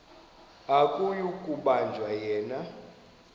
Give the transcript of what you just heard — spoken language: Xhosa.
akuyi kubanjwa yena